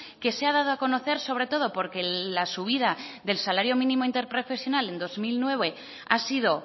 que se ha dado a conocer sobre todo porque la subida del salario mínimo interprofesional en dos mil diecinueve ha sido